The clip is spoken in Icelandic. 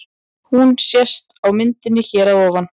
Hún sést á myndinni hér að ofan.